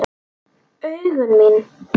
Augu mín.